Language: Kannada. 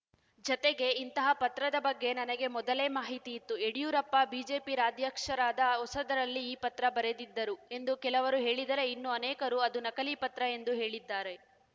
ಜತೆಗೆ ಇಂತಹ ಪತ್ರದ ಬಗ್ಗೆ ನನಗೆ ಮೊದಲೇ ಮಾಹಿತಿ ಇತ್ತು ಯಡಿಯೂರಪ್ಪ ಬಿಜೆಪಿ ರಾಜ್ಯಾಧ್ಯಕ್ಷರಾದ ಹೊಸದರಲ್ಲಿ ಈ ಪತ್ರ ಬರೆದಿದ್ದರು ಎಂದು ಕೆಲವರು ಹೇಳಿದರೆ ಇನ್ನೂ ಅನೇಕರು ಅದು ನಕಲಿ ಪತ್ರ ಎಂದೂ ಹೇಳಿದ್ದಾರೆ